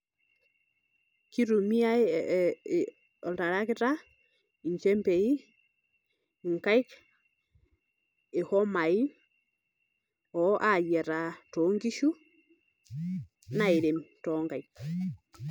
Kitumiai ee oltarakita, nchembei nkaik ,ihomai ayiataa tonkishu nairem tonkaik